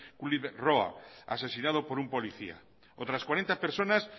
kluiverth roa asesinado por un policía otras cuarenta personas